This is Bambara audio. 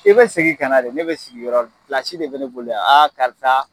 I bɛ segin kana de , ne bɛ sigi yɔrɔ min, plasi de bɛ ne bolo yan aa karisa